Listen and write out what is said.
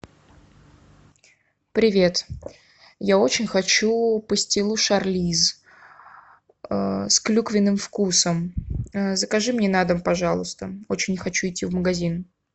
привет я очень хочу пастилу шарлиз с клюквенным вкусом закажи мне на дом пожалуйста очень не хочу идти в магазин